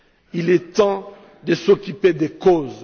Il est temps de s'occuper des causes.